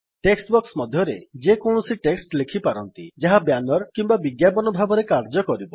text box ମଧ୍ୟରେ ଯେକୌଣସି text ଲେଖି ପାରନ୍ତି ଯାହା ବ୍ୟାନର କିମ୍ୱା ବିଜ୍ଞାପନ ଭାବରେ କାର୍ଯ୍ୟ କରିବ